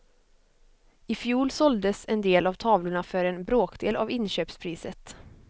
I fjol såldes en del av tavlorna för en bråkdel av inköpspriset.